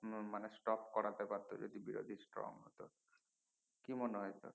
মানে stock করাতে পারতো যদি বিরোধী strong হত কি মনে হয় তোর